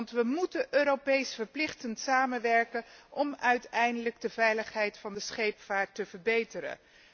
Want we moeten Europees verplicht samenwerken om uiteindelijk de veiligheid van de scheepvaart te verbeteren.